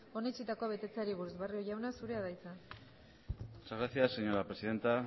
onetsitakoa betetzeari buruz barrio jauna zurea da hitza muchas gracias señora presidenta